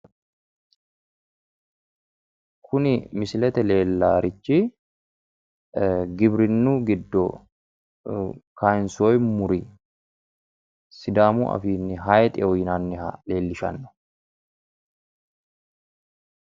Kuni misilete leellaarichi giwirinnu giddo kaayinsoyi muri sidaamu afiinni haayiixeho yinanniha leellishanno.